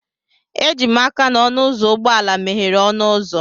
Eji m aka ọnụ ụzọ ụgbọ ala meghere ọnụ ụzọ